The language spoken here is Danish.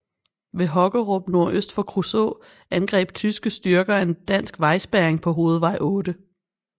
Ved Hokkerup nordøst for Kruså angreb tyske styrker en dansk vejspærring på hovedvej 8